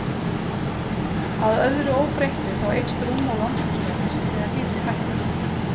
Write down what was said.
Að öðru óbreyttu, þá eykst rúmmál andrúmslofts þegar hiti hækkar.